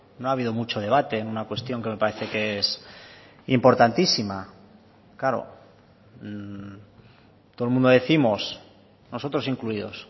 no ha habido mucho debate en una cuestión que me parece que es importantísima claro todo el mundo décimos nosotros incluidos